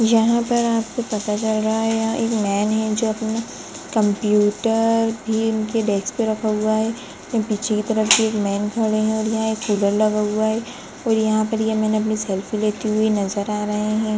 यहाँ पर आपको पता चल रहा है यहा एक मैन है जो अपना कंप्यूटर भी इनके डेस्क पे रखा हुआ है ये पिछली तरफ भी एक मैन खड़े है और यहाँ एक कूलर लगा हुआ है कोई यहाँ पर ये मैन अपनी सेल्फी लेते हुए नजर आ रहे हैं।